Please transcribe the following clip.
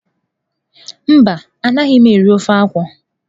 Mba anaghị m eri ofe akwụ.